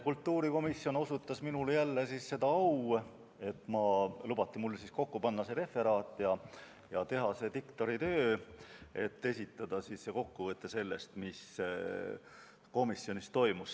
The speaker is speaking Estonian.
Kultuurikomisjon osutas jälle minule seda au, et mul lubati kokku panna referaat ning teha see diktoritöö ja esitada teile kokkuvõte sellest, mis komisjonis toimus.